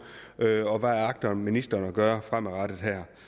hvad agter ministeren at gøre fremadrettet